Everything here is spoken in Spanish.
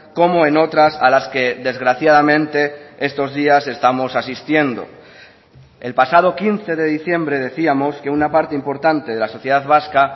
como en otras a las que desgraciadamente estos días estamos asistiendo el pasado quince de diciembre decíamos que una parte importante de la sociedad vasca